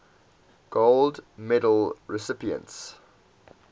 gold medal recipients